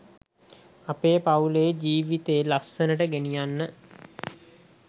ඒ පවුල් ජීවිතේ ලස්සනට ගෙනියන්න.